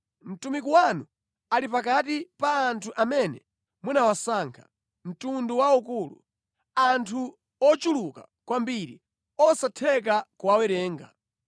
Mtumiki wanu ali pakati pa anthu amene munawasankha, mtundu waukulu, anthu ochuluka kwambiri osatheka kuwawerenga.